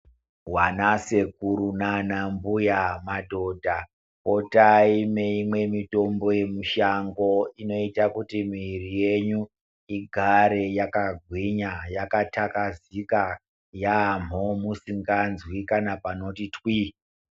Vanasekuru nanambuya, madhodha, potai meyimwe imweni mitombo yemushango inoita kuti miviri yenyu igare yakagwinya, yakathakazika yaamho, musikazwi kana panoti twii.